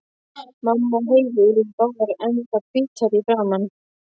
Mamma og Heiða urðu báðar ennþá hvítari í framan.